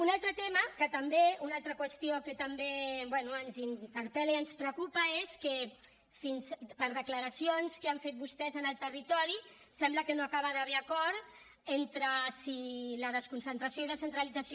un altre tema una altra qüestió que també bé ens interpel·la i ens preocupa és que per declaracions que han fet vostès en el territori sembla que no acaba d’haver hi acord entre si la desconcentració i descentralització